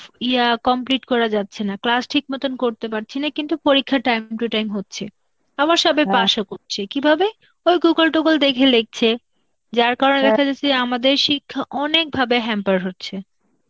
ইয়া complete করা যাচ্ছে না, class ঠিক মতন করতে পারছি না কিন্তু পরীক্ষা time to time হচ্ছে. আবার সবাই pass ও করছি, কিভাবে? ওই Google toogle দেখে লিখছে, যার কারণে দেখাযাচ্ছে আমাদের শিক্ষা অনেকভাবে hamper হচ্ছে.